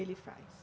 Ele faz?